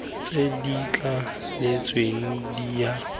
tse di thaletsweng di kaya